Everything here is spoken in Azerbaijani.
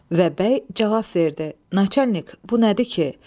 Və bəy cavab verdi: "Naçalik, bu nədir ki?